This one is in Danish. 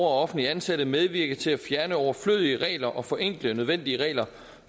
og offentligt ansatte medvirke til at fjerne overflødige regler og forenkle nødvendige regler